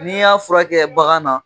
N'i y'a furakɛ bagan na